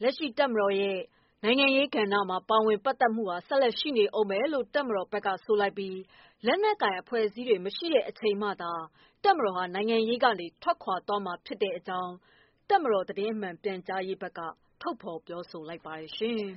” လက်ရှိတပ်မတော်ရဲ့နိုင်ငံရေးပါဝင်မှုဟာ ဆက်လက်ရှိနေဦးမယ်လို့ တပ်မတော်ဘက်က ဆိုလိုက်ပြီး လက်နက်ကိုင်အဖွဲ့အစည်းတွေ မရှိတဲ့အချိန်မှသာ တပ်မတော်ဟာ နိုင်ငံရေး ကနေ ထွက်ခွာသွားမှာဖြစ်ကြောင်း တပ်မတော် သတင်းမှန်ပြန်ကြားရေးက ပြောလိုက်ပါ တယ်ရှင်။